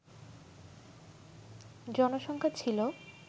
জনসংখ্যা ছিল